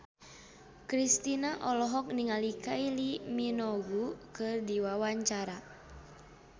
Kristina olohok ningali Kylie Minogue keur diwawancara